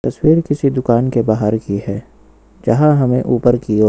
cell किसी दुकान के बाहर की है जहां हमें ऊपर की ओर--